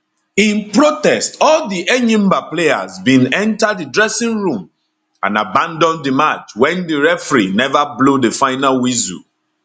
in protest all di enyimba players bin enta di dressing room and abandon di match wen di referee neva blow di final whistle